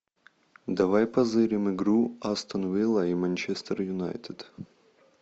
давай позырим игру астон вилла и манчестер юнайтед